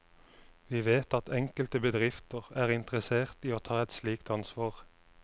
Vi vet at enkelte bedrifter er interessert i å ta et slikt ansvar.